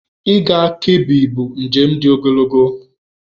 Ịga Kebbi bụ njem dị ogologo.